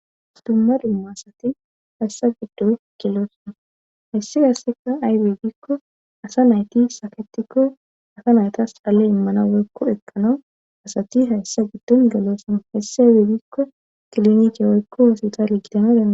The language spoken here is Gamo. dumma limo asati hayssa giddo killoosona hesse gasseka aybedikko asa nayti saketikko asa naytas xalle immana woykko ekkanau asati hayssa giddon gelosama hesse dedikko kilonice woykko hositali gidanodaa